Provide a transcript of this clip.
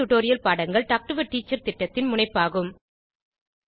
spoken tutorial பாடங்கள் talk to a teacher திட்டத்தின் முனைப்பாகும்